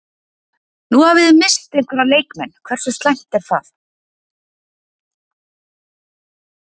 Nú hafi þið misst einhverja leikmenn, hversu slæmt er það?